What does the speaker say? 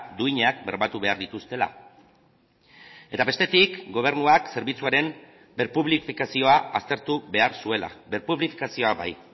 duinak bermatu behar dituztela eta bestetik gobernuak zerbitzuaren berpublifikazioa aztertu behar zuela berpublifikazioa bai